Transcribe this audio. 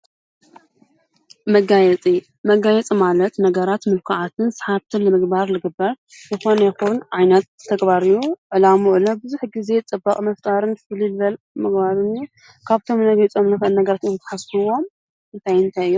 መጋየፂ መጋይፂ ማለት ነገራት ምልኩዓትን ሰሓብትን ምግባር ልግበር ይኾን የኹን ኣይነት ተግባርዩ ዕላምዑሎ ብዙኅ ጊዜ ጥባቕ መፍጣርን ፍሊድበል ምግባርኒ ካብቶም ነጊጸምነፈን ነገረት ተሓፍዎም እንተይንተይዮ?